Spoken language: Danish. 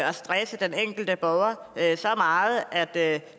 og stresse den enkelte borger så meget at